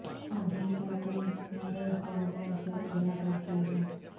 اب بھی کیا تم مرے خوابوں سے ڈرا کرتی ہو